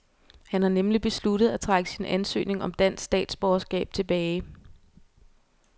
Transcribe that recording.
Han har nemlig besluttet at trække sin ansøgning om dansk statsborgerskab tilbage.